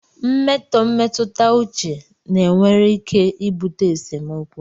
Mmetọ mmetụta uche na nwere ike ibute esemokwu